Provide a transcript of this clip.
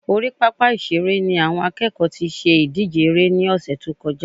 Orí pápá ìṣeré ni àwọn akẹ́kọ̀ọ́ tí ṣe ìdíje eré ní ọ̀sẹ̀ tó kọjá